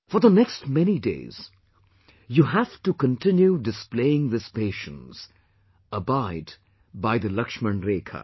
For the next many days, you have to continue displaying this patience; abide by the Lakshman Rekha